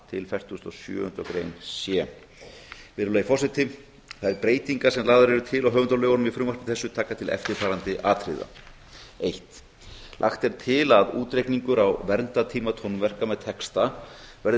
a fertugasta og sjöunda grein c virðulegi forseti þær breytingar sem lagðar eru til á höfundalögunum í frumvarpi þessu taka til eftirfarandi atriða fyrsta lagt er til að útreikningur á verndartíma tónverka með texta verði